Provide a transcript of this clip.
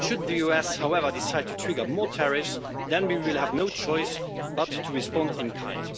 Should the US, however, decide to trigger more tariffs then we will have no choice but to respond in kind.